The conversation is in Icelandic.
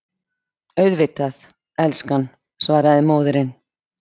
Auðvitað, elskan, svaraði móðirin.